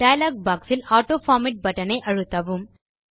dialogue boxஇல் autoformat button ஐ அழுத்தவும்